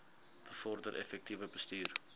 bevorder effektiewe bestuur